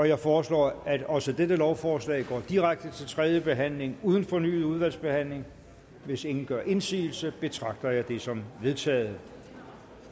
jeg foreslår at også dette lovforslag går direkte til tredje behandling uden fornyet udvalgsbehandling hvis ingen gør indsigelse betragter jeg det som vedtaget